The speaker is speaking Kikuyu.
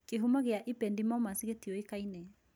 Kĩhumo gĩa ependymomas gĩtiũĩkaine